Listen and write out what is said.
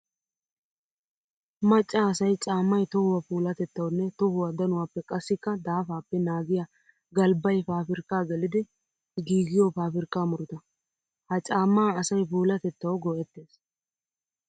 Maca asay caamay tohuwa puulatettawunne tohuwa danuwappe qassikka daafappe naagiya galbbay paabirkka geliddi giigiyo paabirkka murutta. Ha caama asay puulatettaw go'ettes.